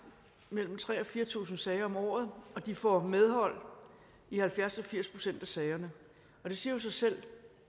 mellem tre tusind og fire tusind sager om året de får medhold i halvfjerds til firs procent af sagerne det siger jo sig selv